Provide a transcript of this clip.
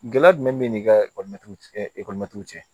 Gɛlɛya jumɛn bɛ ni ka ekɔlitigiw cɛ